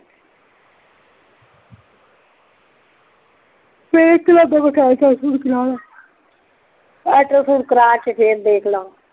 ਫੇਰ ਕੀ ਲੱਗਦਾ ਕੋਈ ਟੈਸਟ ਕਰਾ ਲਾ ਅਲਟ੍ਰਾ ਸਾਉਂਡ ਕਰਾ ਕੇ ਫੇਰ ਦੇਖ ਲਾਂਗੇ